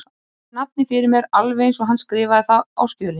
Ef svo fer þá þarf ekki miklu að fórna fyrir guðsþakkirnar.